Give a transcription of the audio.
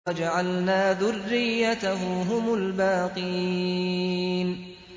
وَجَعَلْنَا ذُرِّيَّتَهُ هُمُ الْبَاقِينَ